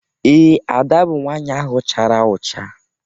Ee, Ada bụ nwaanyị ahụ chara ụcha.